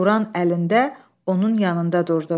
Quran əlində onun yanında durdu.